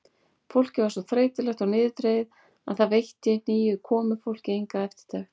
Fólkið var svo þreytulegt og niðurdregið að það veitti nýju komufólki enga eftirtekt.